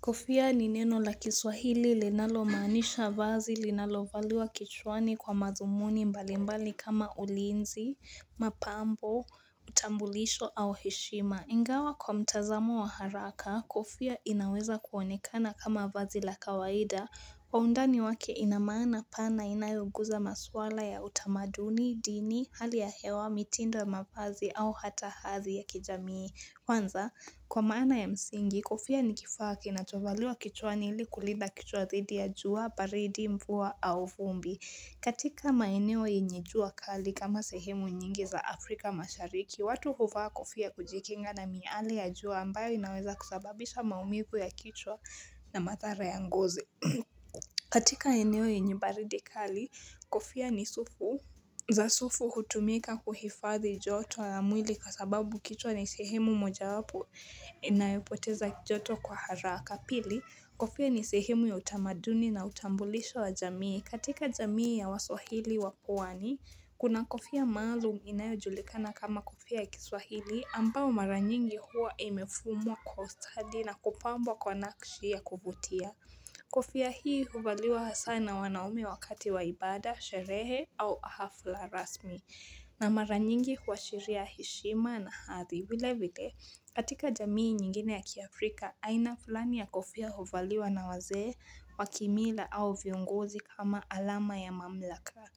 Kofia ni neno la kiswahili linalo maanisha vazi linalovaliwa kichwani kwa mazumuni mbalimbali kama ulinzi, mapambo, utambulisho au heshima. Ingawa kwa mtazamo wa haraka, kofia inaweza kuonekana kama vazi la kawaida. Kwa undani wake inamaana pana inayoguza maswala ya utamaduni, dini, hali ya hewa, mitindo ya mavazi au hata hazi ya kijamii. Kwanza, kwa maana ya msingi, kofia ni kifaa kinachovaliwa kichwa hili kulida kichwa dhidi ya jua, baridi, mvua, au vumbi. Katika maeneo yenye jua kali kama sehemu nyingi za Afrika mashariki, watu huvaa kofia kujikinga na miale ya jua ambayo inaweza kusababisha maumivu ya kichwa na madhara ya ngozi mmh. Katika eneo yenye baridi kali, kofia ni sufu za sufu hutumika kuhifadhi joto ya mwili kwa sababu kichwa ni sehemu moja wapo inayopoteza joto kwa haraka. Pili, kofia ni sehemu ya utamaduni na utambulisho wa jamii. Katika jamii ya waswahili wapwani, kuna kofia maalum inayojulikana kama kofia ya kiswahili ambao maranyingi huwa imefumwa kwa ustadi na kupambwa kwa nakshi ya kuvutia. Kofia hii huvaliwa hasaa na wanaume wakati wa ibada, sherehe au hafla rasmi na mara nyingi huashiria heshima na hadhi. Vile vile, katika jamii nyingine ya kiafrika, aina fulani ya kofia huvaliwa na wazee, wakimila au viongozi kama alama ya mamlaka.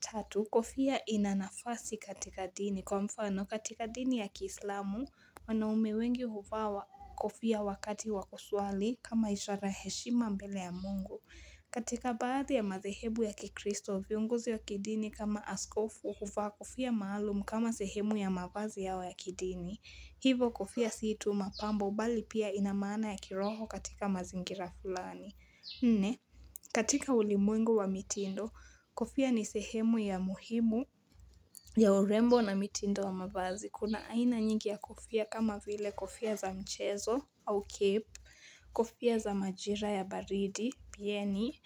Tatu, kofia ina nafasi katika dini kwa mfano katika dini ya kiislamu wanaume wengi huvaa wa kofia wakati wakuswali kama ishara heshima mbele ya Mungu katika baadhi ya madhehebu ya kikristo, viongozi wa kidini kama askofu huvaa kofia maalumu kama sehemu ya mavazi yao ya kidini Hivyo kofia si tu mapambo bali pia ina maana ya kiroho katika mazingira fulani. Nne, katika ulimwengu wa mitindo, kofia ni sehemu ya muhimu ya urembo na mitindo wa mavazi. Kuna aina nyingi ya kofia kama vile kofia za mchezo au cape, kofia za majira ya baridi, pieni,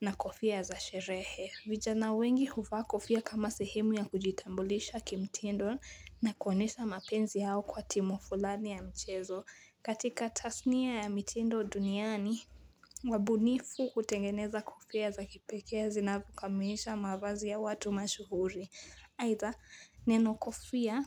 na kofia za sherehe. Vijana wengi huvaa kofia kama sehemu ya kujitambulisha kimtindo na kuonyesha mapenzi yao kwa timu fulani ya mchezo. Katika tasnia ya mitindo duniani, wabunifu hutengeneza kofia za kipekee zinavo kamilisha mavazi ya watu mashuhuri. Aidha, neno kofia,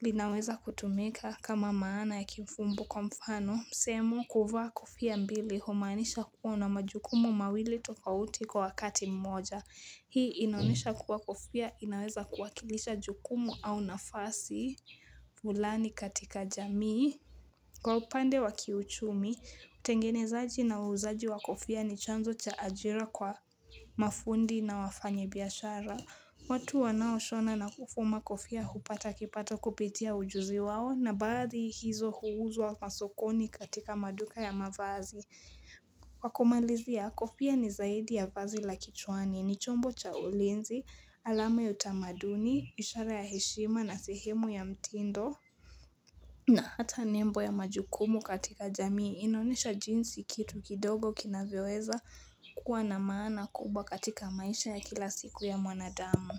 linaweza kutumika kama maana ya kimfumbo kwa mfano, sehemu kuvaa kofia mbili, humaanisha kuwa una majukumu mawili tofauti kwa wakati mmoja. Hii inaonesha kuwa kofia inaweza kuwakilisha jukumu au nafasi fulani katika jamii. Kwa upande wakiuchumi, utengenezaji na uuzaji wa kofia ni chanzo cha ajira kwa mafundi na wafanya biashara. Watu wanaoshona na kufuma kofia hupata kipato kupitia ujuzi wao na baadhi hizo huuzwa masokoni katika maduka ya mavazi. Kwa kumalizia kofia ni zaidi ya vazi la kichwani, ni chombo cha ulinzi, alama utamaduni, ishara ya heshima na sehemu ya mtindo na hata nembo ya majukumu katika jamii inaonesha jinsi kitu kidogo kinavyoeza kuwa na maana kubwa katika maisha ya kila siku ya mwanadamu.